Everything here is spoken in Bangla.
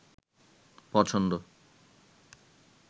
পছন্দ